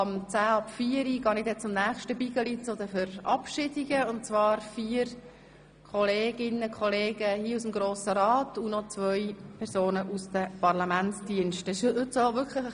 Um etwa 16.10 Uhr werde ich zu den Verabschiedungen übergehen von vier Kolleginnen und Kollegen aus dem Grossen Rat sowie zwei Mitarbeitende der Parlamentsdienste verabschieden.